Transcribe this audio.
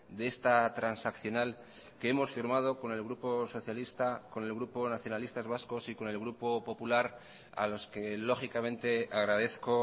de esta transaccional que hemos firmado con el grupo socialista con el grupo nacionalistas vascos y con el grupo popular a los que lógicamente agradezco